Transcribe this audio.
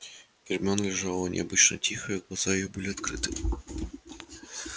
гермиона лежала необычно тихая глаза её были открыты